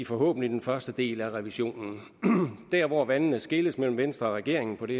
forhåbentlig den første del af revisionen der hvor vandene skilles mellem venstre og regeringen i